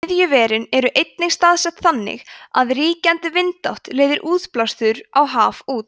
iðjuverin eru einnig staðsett þannig að ríkjandi vindátt leiðir útblástur á haf út